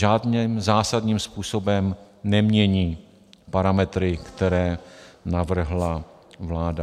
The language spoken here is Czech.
Žádným zásadním způsobem nemění parametry, které navrhla vláda.